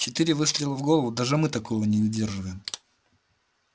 четыре выстрела в голову даже мы такого не выдерживаем